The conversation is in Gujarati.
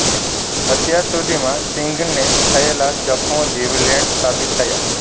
અત્યાર સુધીમાં સિંઘને થયેલા જખ્મો જીવલેણ સાબિત થયા